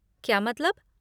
क्या मतलब?